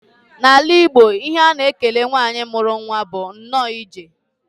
N'ala Igbo, ihe a na-ekele nwanyị mụrụ nwa bụ nnọọ ije.